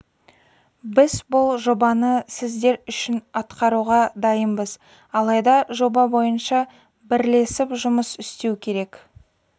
біз бұл жобаны сіздер үшін атқаруға дайынбыз алайда жоба бойынша бірлесіп жұмыс істеу керек